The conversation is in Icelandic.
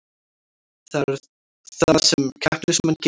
Það er það sem keppnismenn gera